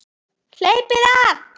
Hleypið af!